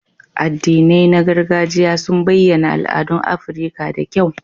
Addinai na gargajiya sun bayyana al'adun Afirka da kyau.